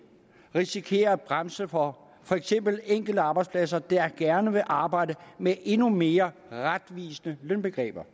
risikere at bremse for for eksempel enkelte arbejdspladser der gerne vil arbejde med endnu mere retvisende lønbegreber